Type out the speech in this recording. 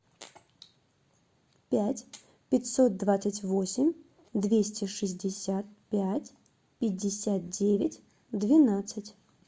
пять пятьсот двадцать восемь двести шестьдесят пять пятьдесят девять двенадцать